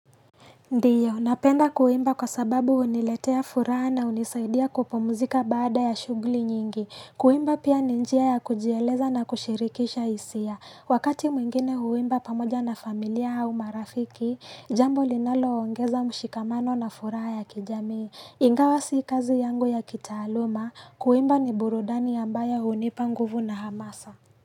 Ndiyo, napenda kuimba kwa sababu huniletea furaha na hunisaidia kupumuzika baada ya shuguli nyingi. Kuimba pia ni njia ya kujieleza na kushirikisha hisia. Wakati mwingine huimba pamoja na familia hau marafiki, jambo linaloongeza mshikamano na furaha ya kijamii. Ingawa si kazi yangu ya kitaaluma, kuimba ni burudani ambayo hunipa nguvu na hamasa.